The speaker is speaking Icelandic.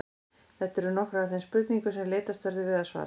Þetta eru nokkrar af þeim spurningum sem leitast verður við að svara.